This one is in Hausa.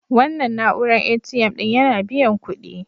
Wannan na'uran ATM ɗin yana biyan kuɗi.